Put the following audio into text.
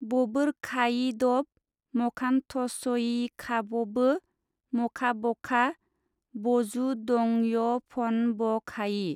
बबोरखायिदब मखानथसयिखाबबो मखाबखा बजुदंयफनबखायि।